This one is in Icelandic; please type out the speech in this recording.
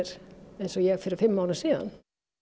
eins og ég fyrir fimm árum síðan